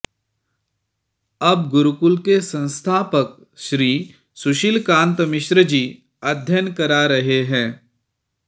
अब गुरुकुल के संस्थापक श्री सुशील कान्त मिश्र जी अध्ययन करा रहे हैं